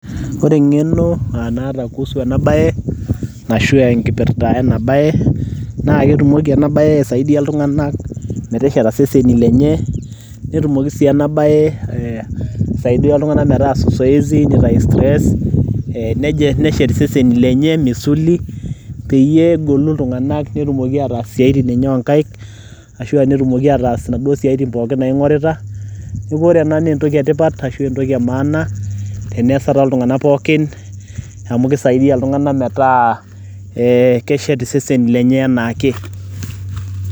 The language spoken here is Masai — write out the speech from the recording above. ore engeno naata kuusu ena bae ashu enkipirta ena bae naa ketumoki ena bae aisaidia iltunganak metesheta iseseni lenye, netumoki si ena bae aisaidia iltunganak metaasa zoezi, nitayu stress neshet iseseni lenye, misuli peyie etumoki iltunganak aatumoki ataas isiatin enye oonkaik, ashu aa netumoki ataas inaduo siatin eye pookin naing'orita, neeku ore ena naa entoki etipat ashu entoki emaana tenesa tooltunganak pookin amu kisaidia iltunganak metaa keshet iseseni lenye anaake.